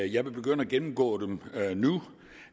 jeg vil begynde at gennemgå dem nu